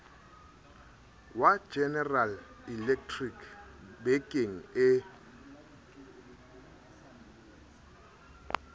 wa general electric bekeng e